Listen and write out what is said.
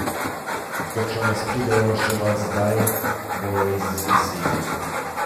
Ker če nas pridejo reševat zdaj, bojo izviseli.